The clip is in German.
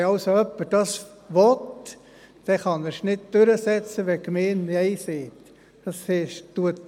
Wenn dies also jemand will, dann kann er es nicht durchsetzen, wenn die Gemeinde Nein sagt.